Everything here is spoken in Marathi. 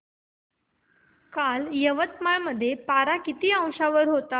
काल यवतमाळ मध्ये पारा किती अंशावर होता